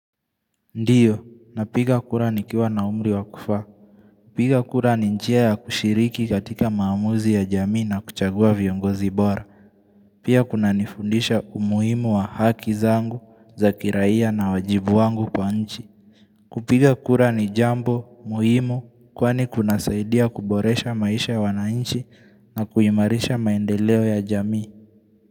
Ndio, na piga kura ni kiwa na umri wa kufaa piga kura ni njia ya kushiriki katika maamuzi ya jamii na kuchagua viongozi bora. Pia kuna nifundisha umuhimu wa haki zangu za kiraiya na wajibu wangu kwa nchi. Kupiga kura ni jambo, muhimu, kwani kuna saidia kuboresha maisha ya wanainchi na kuimarisha maendeleo ya jamii.